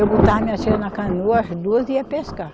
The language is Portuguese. Eu botava minhas filhas na canoa, as duas, e ia pescar.